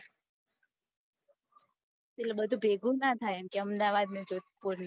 એટલે બધું ભેગું ના થયે કે અમદાવાદ ને જોધપૂર ને એમ